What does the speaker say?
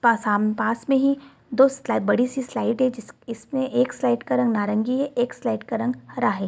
पासाम पास में ही दो स्लाइड बड़ी सी स्लाइड है इसमें एक स्लाइड का रंग नारंगी है एक स्लाइड का रंग हरा है।